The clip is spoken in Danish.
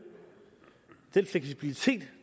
den fleksibilitet